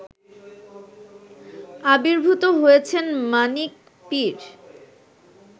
আবির্ভূত হয়েছেন মানিক পীর